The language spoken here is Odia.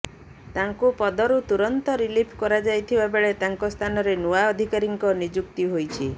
ତାଙ୍କୁ ପଦରୁ ତୁରନ୍ତ ରିଲିଫ କରାଯାଇଥିବା ବେଳେ ତାଙ୍କ ସ୍ଥାନରେ ନୂଆ ଅଧିକାରୀଙ୍କ ନିଯୁକ୍ତି ହୋଇଛି